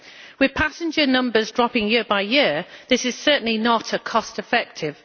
With passenger numbers dropping year by year this is certainly not cost effective.